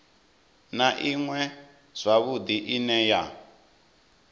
na iṅwe zwavhudi ine ya